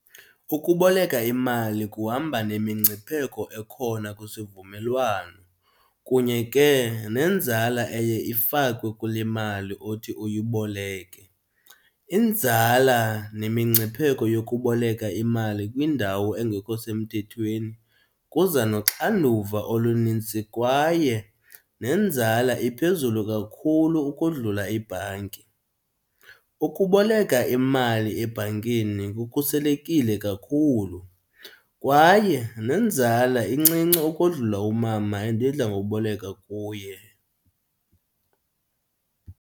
Ukuboleka imali kuhamba nemingcipheko ekhona kwisivumelwano kunye ke nenzala eye ifakwe kule mali othi uyiboleke. Inzala nemingcipheko yokuboleka imali kwiindawo engekho semthethweni kuza noxanduva olunintsi kwaye nenzala iphezulu kakhulu ukodlula ibhanki. Ukuboleka imali ebhankini kukhuselekile kakhulu kwaye nenzala incinci ukodlula umama endidla ngokuboleka kuye.